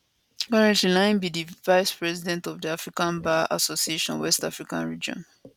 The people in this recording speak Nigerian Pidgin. currently na im be di vice president of di african bar association west african region